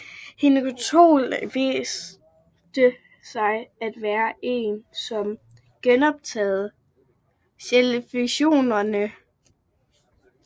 Hinokitiol viste sig af være den som genoprettede cellefunktionerne